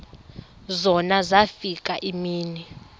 zona zafika iimini